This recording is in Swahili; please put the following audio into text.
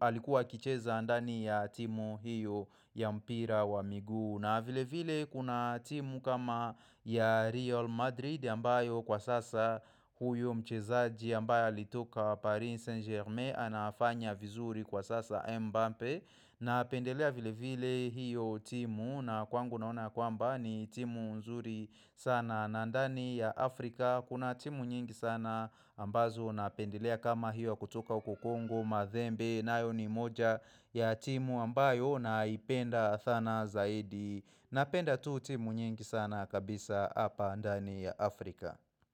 alikuwa akicheza ndani ya timu hiyo ya mpira wa miguu na vile vile kuna timu kama ya Real Madrid ambayo kwa sasa huyo mchezaji ambaye alitoka Paris Saint Germain anafanya vizuri kwa sasa Mbappe na pendelea vile vile hiyo timu na kwangu naona kwamba ni timu nzuri sana na ndani ya Afrika Kuna timu nyingi sana ambazo na pendelea kama hiyo kutoka huko congo, mathembe nayo ni moja ya timu ambayo naipenda sana zaidi na penda tu timu nyingi sana kabisa hapa ndani ya Afrika.